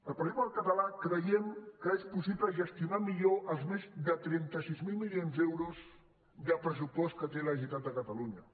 el partit popular català creiem que és possible gestionar millor els més de trenta sis mil milions d’euros de pressupost que té la generalitat de catalunya